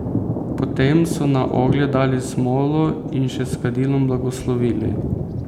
Potem so na oglje dali smolo in še s kadilom blagoslovili.